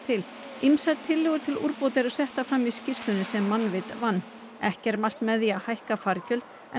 ýmsar tillögur til úrbóta eru settar fram í skýrslunni sem Mannvit vann ekki er mælt með því að hækka fargjöld en